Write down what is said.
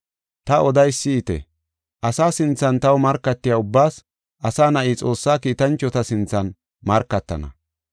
“Ta odeysa si7ite; asa sinthan taw markatiya ubbaas Asa Na7i Xoossa kiitanchota sinthan markatana.